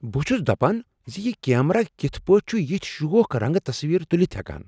بہٕ چُھس دَپان زِ یہِ کیمرا کتھ پٲٹھۍ چُھ یتھۍ شوخ رنٛگہٕ تصویٖر تُلِتھ ہٮ۪کان!